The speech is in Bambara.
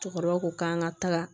Cɛkɔrɔba ko k'an ka taga